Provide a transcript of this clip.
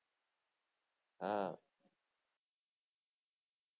હા